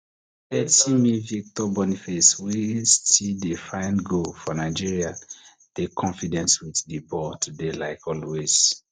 thirty min victor boniface wey still dey find goal for nigeria dey confident wit di ball today like always